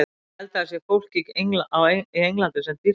Ég held að það sé fólk í Englandi sem dýrkar mig.